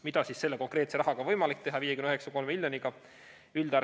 Mida siis selle konkreetse rahaga, 59,3 miljoniga on võimalik teha?